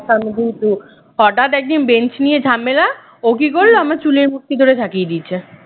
সামনের দিকে একটু হঠাৎ একদিন বেঞ্চ নিয়ে ঝামেলা ও কি করল আমার চুলের মুঠি থরে ঝাঁকিয়ে দিয়েছে